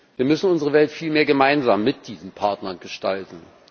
Wir müssen unsere Welt vielmehr gemeinsam mit diesen Partnern gestalten.